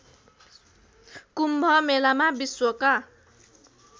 कुम्भ मेलामा विश्वका